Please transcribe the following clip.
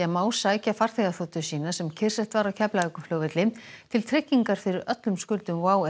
má sækja farþegaþotu sína sem kyrrsett var á Keflavíkurflugvelli til tryggingar fyrir öllum skuldum WOW